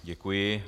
Děkuji.